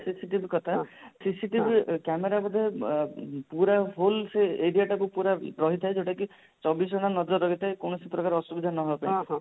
CCTV କଥା CCTV camera ବୋଧେ ଅ ପୁରା full ସେ area ଟାକୁ ପୁରା ରହିଥାଏ ଯଉଟା କି ଚବିଶ ଘଣ୍ଟା ନଜର ରଖିଥାଏ କୌଣସି ପ୍ରକାର ଅଶୁଵିଧା ନ ହବା ପାଇଁ